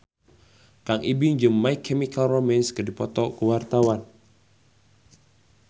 Kang Ibing jeung My Chemical Romance keur dipoto ku wartawan